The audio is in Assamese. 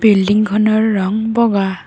বিল্ডিংখনৰ ৰং বগা।